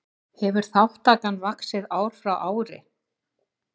Hefur þátttakan vaxið ár frá ári